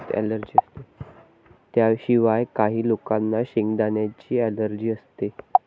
त्याशिवाय, काही लोकांना शेंगदाण्यांची अलर्जी असते.